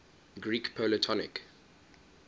greek polytonic